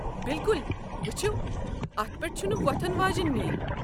بِلکُل۔ وٕچھِو، اتھ پٮ۪ٹھ چھنہٕ ووتھن واجیٚنۍ میٖل۔